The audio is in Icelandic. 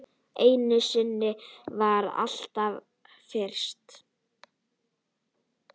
Einu sinni verður allt fyrst.